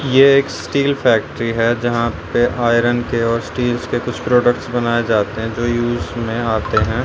ये एक steel factory है जहां पे आयरन के और स्टील्स के कुछ प्रोडक्ट्स बनाए जाते हैं जो यूज में आते हैं।